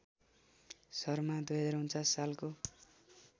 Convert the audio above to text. शर्मा २०४९ सालको